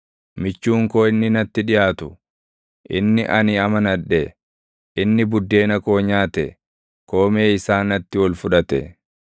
Michuun koo inni natti dhiʼaatu, inni ani amanadhe, inni buddeena koo nyaate koomee isaa natti ol fudhate.